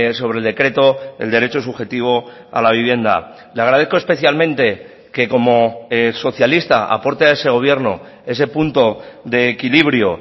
sobre el decreto el derecho subjetivo a la vivienda le agradezco especialmente que como socialista aporte a ese gobierno ese punto de equilibrio